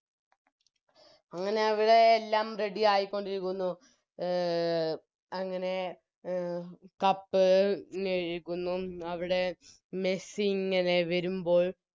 അങ്ങനെ അവിടെ എല്ലാം Ready ആയിക്കൊണ്ടിരിക്കുന്നു അഹ് അങ്ങനെ അഹ് Cup മെഴുകുന്നു അവിടെ മെസ്സിയിങ്ങനെ വരുമ്പോൾ